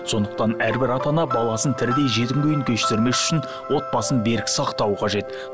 сондықтан әрбір ата ана баласын тәрбие кештірмес үшін отбасын берік сақтауы қажет